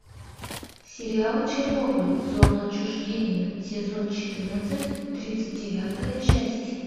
сериал чернобыль зона отчуждения сезон четырнадцать тридцать девятая часть